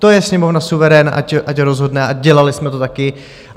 To je Sněmovna suverén, ať rozhodne, a dělali jsme to taky.